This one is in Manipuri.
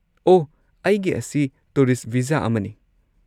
ꯑꯣꯍ, ꯑꯩꯒꯤ ꯑꯁꯤ ꯇꯨꯔꯤꯁꯠ ꯚꯤꯖꯥ ꯑꯃꯅꯤ꯫